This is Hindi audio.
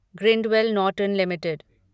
Grindwell Norton limited